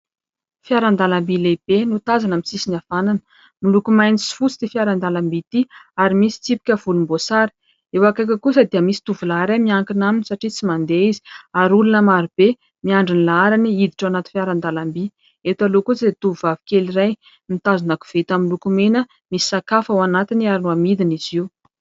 Fiaran-dalamby lehibe no tazana amin'ny sisiny havanana. Miloko maitso sy fotsy ity fiaran-dalamby ity, ary misy tsipika volomboasary. Eo akaikiny kosa dia misy tovolahy iray, miankina aminy, satria tsy mandeha izy ; ary olona maro be miandry ny laharany hiditra ao anaty fiaran-dalamby. Eto aloha kosa dia tovovavy kely iray, mitazona koveta miloko mena, misy sakafo ao anatiny ary hamidiny izy io.